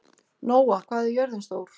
Nóa, hvað er jörðin stór?